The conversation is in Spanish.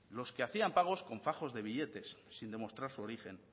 los que hacían pagos con fajos de billetes sin demostrar su origen